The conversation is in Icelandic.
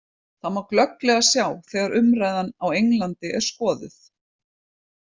Það má glögglega sjá þegar umræðan á Englandi er skoðuð.